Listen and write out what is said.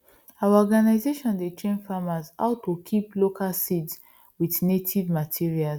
our organisation dey train farmers how to kip local seeds with native materials